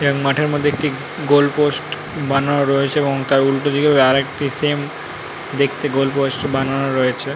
এবং মাঠের মধ্যে একটি গোল পোস্ট বানানো রয়েছে এবং তার উল্টোদিকেও আরেকটি সেম দেখতে গোল পোস্ট বানানো রয়েছে।